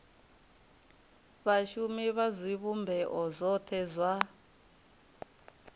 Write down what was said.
vhashumi vha zwivhumbeo zwothe zwa